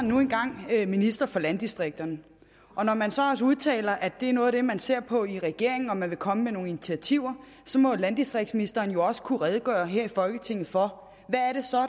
nu engang minister for landdistrikterne og når man så også udtaler at det er noget af det man ser på i regeringen og at man vil komme med nogle initiativer så må landdistriktsministeren jo også kunne redegøre her i folketinget for